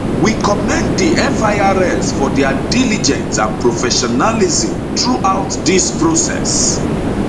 we commend di firs for dia diligence and professionalism throughout dis process